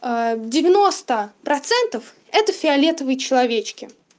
а девяносто процентов это фиолетовые человечки